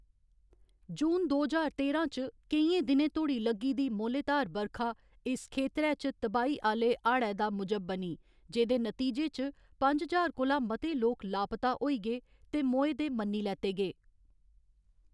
जून दो ज्हार तेरां च, केइयें दिनें धोड़ी लग्गी दी मोह्‌लेधार बरखा इस खेतरै च तबाही आह्‌ले हाड़ै दा मूजब बनी, जेह्‌दे नतीजे च पंज ज्हार कोला मते लोक लापता होई गे ते मोए दे मन्नी लैते गे।